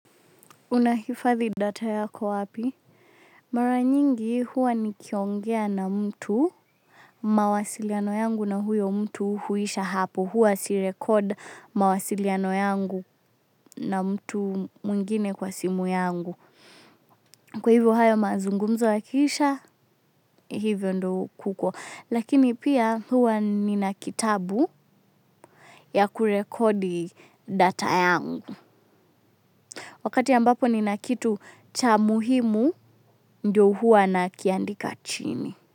Unahifadhi data yako wapi? Mara nyingi huwa nikiongea na mtu, mawasiliano yangu na huyo mtu huisha hapo. Huwa si-record mawasiliano yangu na mtu mwingine kwa simu yangu. Kwa hivyo hayo mazungumzo yakiisha, hivyo ndiyo kuko. Lakini pia huwa nina kitabu ya kurekodi data yangu. Wakati ambapo nina kitu cha muhimu ndiyo huwa nakiandika chini.